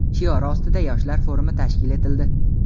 shiori ostida yoshlar forumi tashkil etildi.